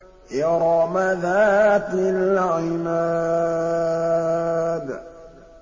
إِرَمَ ذَاتِ الْعِمَادِ